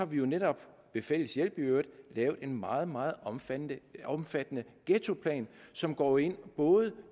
vi jo netop ved fælles hjælp i øvrigt har lavet en meget meget omfattende omfattende ghettoplan som går ind både